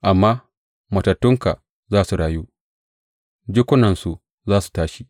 Amma matattunka za su rayu; jikunansu za su tashi.